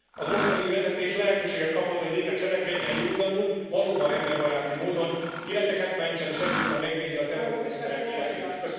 A mostani új vezetés lehetőséget kapott, hogy végre cselekedjen, józanul, valóban emberbaráti módon, életeket mentsen, és egyúttal megvédje az európai emberek életét is.